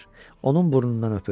Onun burnundan öpür.